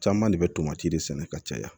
Caman de bɛ tomati de sɛnɛ ka caya